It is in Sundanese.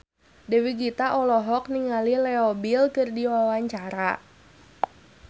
Dewi Gita olohok ningali Leo Bill keur diwawancara